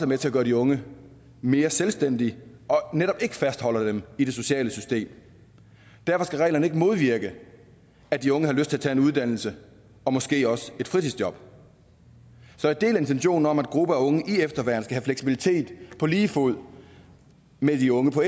med til at gøre de unge mere selvstændige og netop ikke fastholder dem i det sociale system derfor skal reglerne ikke modvirke at de unge har lyst til at tage en uddannelse og måske også et fritidsjob så jeg deler intentionen om at gruppen af unge i efterværn skal have fleksibilitet på lige fod med de unge på